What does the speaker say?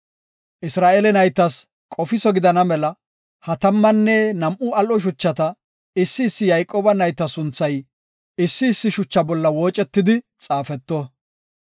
Isra7eele naytas qofiso gidana mela ha tammanne nam7u al7o shuchata, issi issi Yayqooba nayta sunthay, issi issi shucha bolla woocetidi xaafeto.